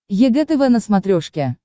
егэ тв на смотрешке